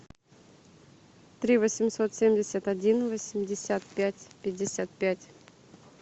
три восемьсот семьдесят один восемьдесят пять пятьдесят пять